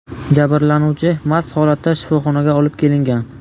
Jabrlanuvchi mast holatda shifoxonaga olib kelingan.